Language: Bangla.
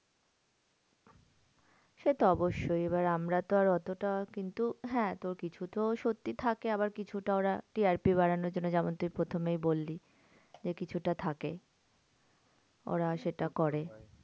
সেতো অবশ্যই এবার আমরা তো আর অতটা কিন্তু হ্যাঁ তো কিছু তো সত্যি থাকে। আবার কিছুটা ওরা TRP বাড়ানোর জন্য যেমন তুই প্রথমেই বললি। যে কিছুটা থাকে ওরা সেটা করে।